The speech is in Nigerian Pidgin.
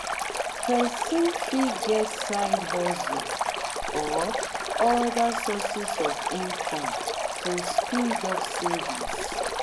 person fit get side hustle or oda sources of income to speed up savings